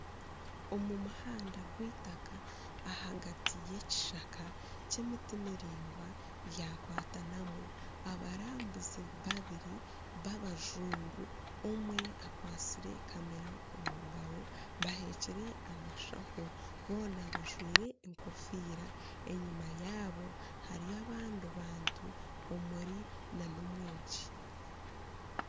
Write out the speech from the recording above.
Omu muhanda gw'eitaka ahagati y'ekishaka ky'emiti miraingwa yakwatanamu abarambuzi babiri babajungu omwe akwatsire kamera omu ngaaro baheekire amashaho boona bajwaire enkofiira enyima yaabo hariyo abandi bantu omuri nana omwegi